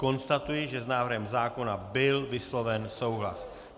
Konstatuji, že s návrhem zákona byl vysloven souhlas.